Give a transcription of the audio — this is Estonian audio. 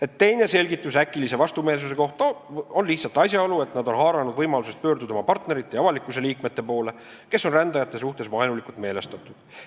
Ent teine selgitus äkilise vastumeelsuse kohta on lihtsalt asjaolu, et nad on haaranud võimalusest pöörduda oma partnerite ja avalikkuse liikmete poole, kes on rändajate suhtes vaenulikult meelestatud.